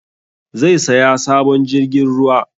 Zai saya sabon jirgin ruwa